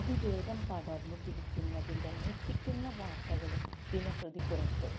അതിവേഗം പടര്ന്നു പിടിക്കുന്നതിന്റെ ഞെട്ടിക്കുന്ന വാര്ത്തകളും ദിനംപ്രതി പുറത്തു